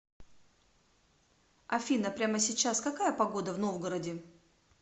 афина прямо сейчас какая погода в новгороде